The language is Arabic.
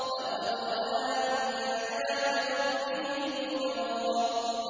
لَقَدْ رَأَىٰ مِنْ آيَاتِ رَبِّهِ الْكُبْرَىٰ